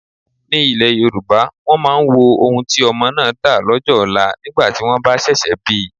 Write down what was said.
Ní ile Yorùbá, wọn máa ń wo ohun tí ọmọ máa dà lọ́jọ́ ọlá nígbà tí wọ́n bá ṣẹ̀ṣẹ̀ bi.